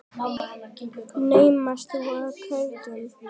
Naumast þú ert kátur.